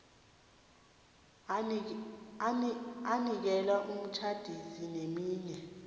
anikele umtjhadisi neminye